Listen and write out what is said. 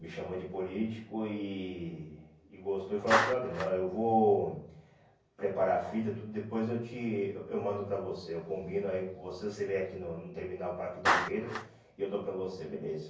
Me chamou de político e e gostou e falou assim, olha, eu vou preparar a fita tudo, depois eu te eu eu mando para você, eu combino aí com você, você vem aqui no terminal Parque Dom Pedro e eu dou para você, beleza.